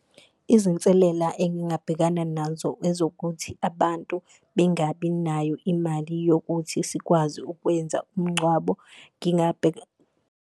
Izinselela engingabhekana nazo ezokuthi abantu bengabi nayo imali yokuthi sikwazi ukwenza umngcwabo .